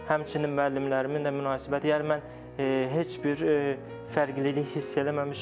Həmçinin müəllimlərimin də münasibəti, yəni mən heç bir fərqlilik hiss eləməmişəm.